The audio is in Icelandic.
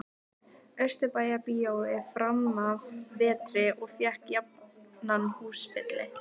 Austurbæjarbíói framanaf vetri og fékk jafnan húsfylli.